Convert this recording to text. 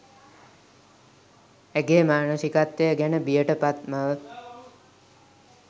ඇගේ මානසිකත්වය ගැන බියට පත් මව